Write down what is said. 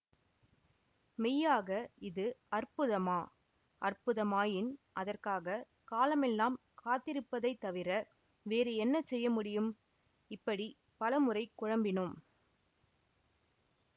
மெய்யாக இது அற்புதமா அற்புதமாயின் அதற்காக காலமெல்லாம் காத்திருப்பதைத் தவிர வேறு என்ன செய்ய முடியும் இப்படி பல முறை குழம்பினோம்